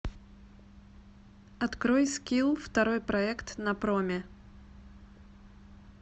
открой скилл второй проект на проме